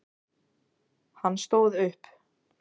Hann stóð upp.